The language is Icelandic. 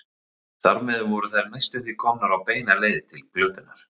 Þar með voru þær næstum því komnar á beina leið til glötunar.